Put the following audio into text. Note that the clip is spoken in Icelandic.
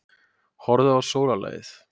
Horfðu á sólarlagið.